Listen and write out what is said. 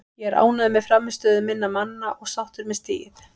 Ég er ánægður með frammistöðu minna manna og sáttur með stigið.